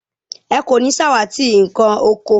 Ẹ kò ní ṣàwátì nkàn oko